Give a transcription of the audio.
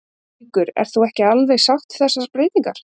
Haukur: En þú ert ekki alveg sátt við þessar breytingar?